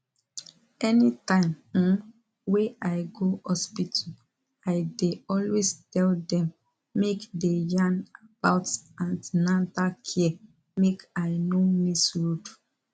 anytime um wey i go hospital i dey always tell dem make dey yarn about an ten atal care make i no miss road